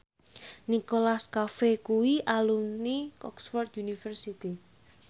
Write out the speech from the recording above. Nicholas Cafe kuwi alumni Oxford university